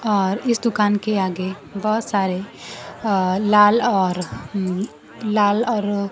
और इस दुकान के आगे बहुत सारे अह लाल और उम्म लाल और--